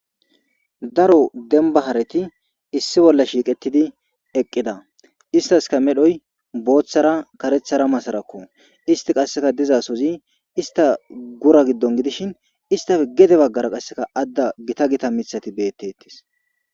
daro denbahareti issi bolla shiiqettidi eqqida istaska medhoy booththara karethara masarakko isti qasseka dizasozi ista gura giddon gidishin istafe gede baggara qasseka adda gita gita mithati beettettis